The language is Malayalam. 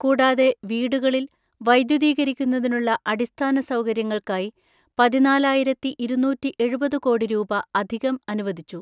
കൂടാതെ വീടുകളിൽ വൈദ്യുതീകരിക്കുന്നതിനുള്ള അടിസ്ഥാന സൗകര്യങ്ങൾക്കായി പതിനാലായിരത്തിഇരുന്നൂറ്റിഎഴുപത് കോടി രൂപ അധികം അനുവദിച്ചു.